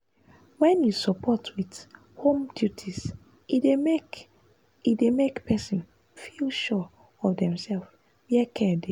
wen you support with home duties e dey make e dey make person feel sure of demself where care dey.